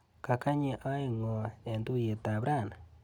Kakanyi aek ng'o eng tuiyetap rani?